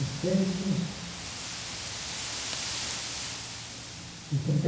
e trinta e